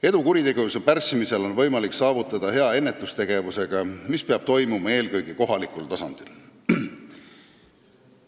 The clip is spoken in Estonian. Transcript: Edu kuritegevuse pärssimisel on võimalik saavutada hea ennetustegevusega, mis peab toimuma eelkõige kohalikul tasandil.